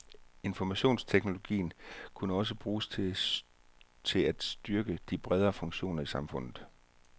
Informationsteknologien kan også bruges til at styrke de bredere funktioner i samfundet.